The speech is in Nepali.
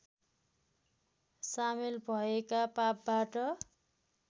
सामेल भएका पापबाट